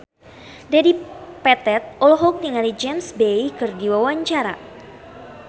Dedi Petet olohok ningali James Bay keur diwawancara